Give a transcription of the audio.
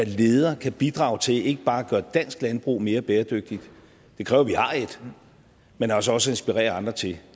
leder kan bidrage til ikke bare at gøre dansk landbrug mere bæredygtigt det kræver at vi har et men altså også inspirerer andre til